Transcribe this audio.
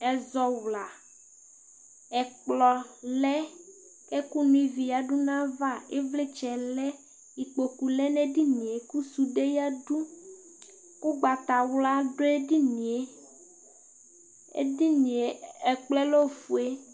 ezawla ɛkplɔ lɛ ɛkò no ivi yadu n'ava ivlitsɛ lɛ ikpoku lɛ n'edinie kò sude yadu ugbata wla do edinie edinie ɛkplɔɛ lɛ ofue